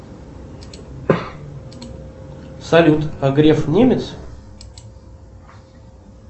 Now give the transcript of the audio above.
салют а греф немец